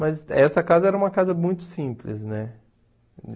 Mas essa casa era uma casa muito simples, né?